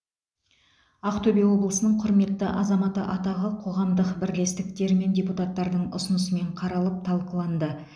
ақтөбе облысының құрметті азаматы атағы қоғамдық бірлестіктер мен депутаттардың ұсынысымен қаралып талқыланды